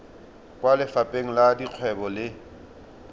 kwa lefapheng la dikgwebo le